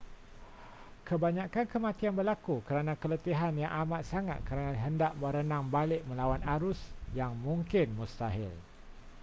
kebanyakan kematian berlaku kerana keletihan yang amat sangat kerana hendak berenang balik melawan arus yang mungkin mustahil